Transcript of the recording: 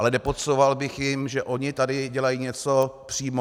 Ale nepodsouval bych jim, že ony tady dělají něco přímo.